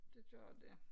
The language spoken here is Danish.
Det gør det